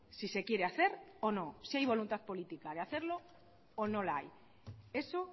si se quiere hacer o no si hay voluntad política de hacerlo o no la hay eso